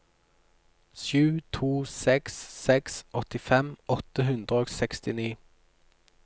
sju to seks seks åttifem åtte hundre og sekstini